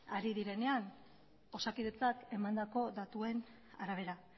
ari direnean osakidetzak emandako datuen arabera